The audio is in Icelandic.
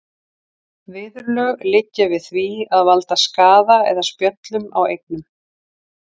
Viðurlög liggja við því að valda skaða eða spjöllum á eignum.